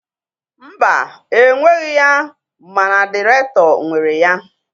Mba, enweghị ya mana dịrektọ nwere ya.